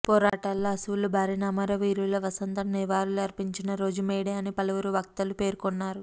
పోరాటాల్లో అసువులు బారిన అమరవీరుల వసంతం నివాళులర్పించిన రోజు మేడేఅని పలువురు వక్తలు పేర్కొన్నారు